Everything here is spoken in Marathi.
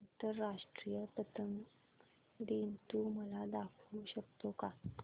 आंतरराष्ट्रीय पतंग दिन तू मला दाखवू शकतो का